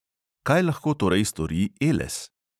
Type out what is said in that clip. Kaj lahko torej stori eles?